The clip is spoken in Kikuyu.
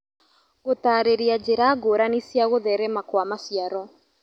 Gũtarĩria njĩra ngũrani cia gũtherema Kwa maciaro